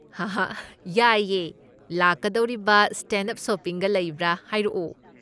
ꯍꯥꯍꯥ ꯌꯥꯏꯌꯦ! ꯂꯥꯛꯀꯗꯧꯔꯤꯕ ꯁꯇꯦꯟꯗ ꯑꯞ ꯁꯣꯄꯤꯡꯒ ꯂꯩꯕ꯭ꯔꯥ ꯍꯥꯏꯔꯛꯑꯣ꯫